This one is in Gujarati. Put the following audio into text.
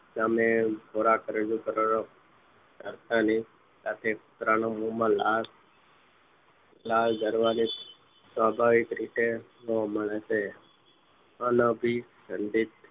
સામે ખોરાક રજુ કરો છો કરતા ને સાથે કુતરાના મોમાં લાળ લાળ જરવાની સ્વાભાવિક રીતે જોવા મળે છે અન અભીસંધિત